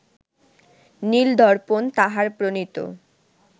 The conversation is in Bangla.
নীল-দর্পণ তাঁহার প্রণীত